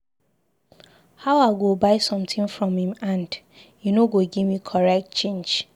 How I go buy something from im hand, he no go give me correct change.